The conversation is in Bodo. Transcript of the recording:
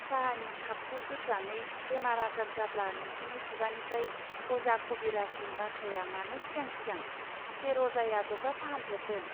साहानि खापखौ दोत्रानै बेमार आजार जाब्ला नोंसिनि खुगानिफ्रय अजा खबिराजनि बाथ्राया मानो सिगां सिगां! सेर अजाया जब्रा फाहाम फेरदों.